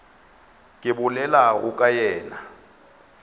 ke bolelago ka yena a